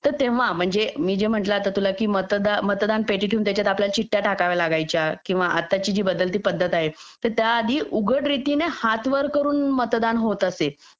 तर तेव्हा म्हणजे मी जे आता तुला म्हणलं की मतदान मतदार पेटी ठेवून त्याच्यामध्ये आपल्याला चिठ्ठ्या टाकाव्या लागायच्या किंवा आत्ताची जी बदलती पद्धत आहे तर त्या आधी उघड रीतीने हात वर करून मतदान होत असे